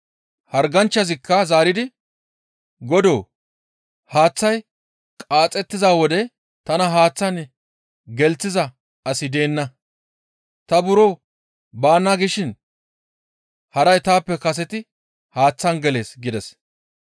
Harganchchazikka zaaridi, «Godoo! Haaththay qaaxettiza wode tana haaththaan gelththiza asi deenna; ta buro baana gishin haray taappe kaseti haaththaan gelees» gides.